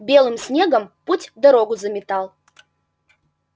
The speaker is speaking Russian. белым снегом путь-дорогу заметал